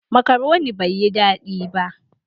"Macaroni" bai yi dadi ba.